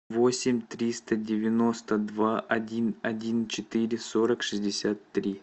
восемь триста девяносто два один один четыре сорок шестьдесят три